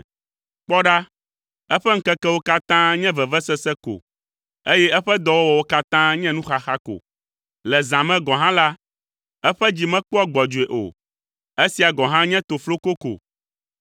Kpɔ ɖa, eƒe ŋkekewo katã nye vevesese ko eye eƒe dɔwɔwɔwo katã nye nuxaxa ko. Le zã me gɔ̃ hã la, eƒe dzi mekpɔa gbɔdzɔe o. Esia gɔ̃ hã nye tofloko ko.